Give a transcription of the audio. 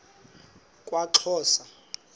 kwaxhosa